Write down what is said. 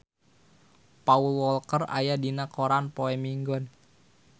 Paul Walker aya dina koran poe Minggon